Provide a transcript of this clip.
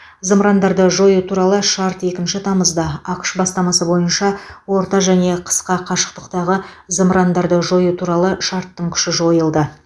зымырандарды жою туралы шарт екінші тамызда ақш бастамасы бойынша орта және қысқа қашықтықтағы зымырандарды жою туралы шарттың күші жойылды